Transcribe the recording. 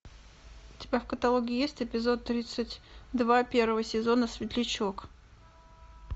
у тебя в каталоге есть эпизод тридцать два первого сезона светлячок